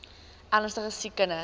ernstige siek kinders